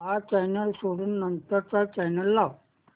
हा चॅनल सोडून नंतर चा चॅनल लाव